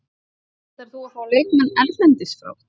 Ætlar þú fá leikmenn erlendis frá?